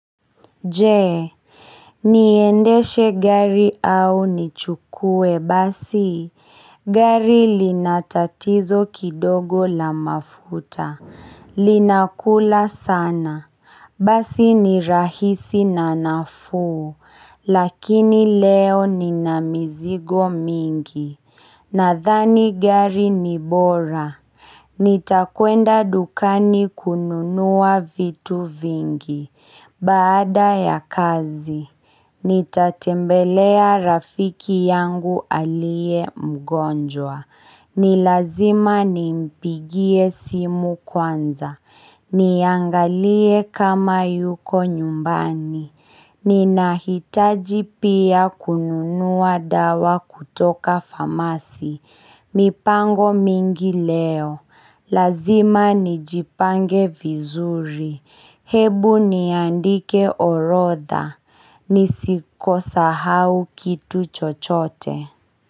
Je, niendeshe gari au nichukue basi? Gari linatatizo kidogo la mafuta, linakula sana. Basi ni rahisi na naufu, lakini leo nina mizigo mingi. Nadhani gari ni bora, nitakwenda dukani kununua vitu vingi, baada ya kazi, nitatembelea rafiki yangu aliye mgonjwa, ni lazima nimpigie simu kwanza, niangalie kama yuko nyumbani, Ninahitaji pia kununua dawa kutoka famasi. Mipango mingi leo. Lazima nijipange vizuri. Hebu niandike orodha. Nisiko sahau kitu chochote.